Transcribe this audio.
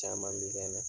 Caman bɛ kɛ na